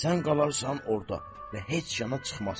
Sən qalarsan orda və heç yana çıxmazsan.